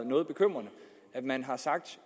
noget bekymrende man har sagt